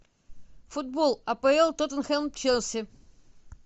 футбол апл тоттенхэм челси